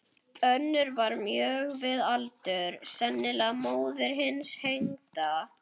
Önnur var mjög við aldur, sennilega móðir hins hengda.